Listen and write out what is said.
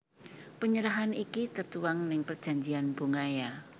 Penyerahan iki tertuang ning perjanjian bongaya